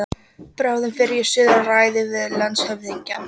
Bráðum fer ég suður og ræði við landshöfðingjann.